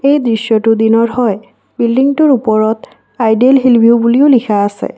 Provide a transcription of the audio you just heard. এই দৃশ্যটো দিনৰ হয় বিল্ডিংটোৰ ওপৰত আইডেল হিল ভিও বুলিও লিখা আছে।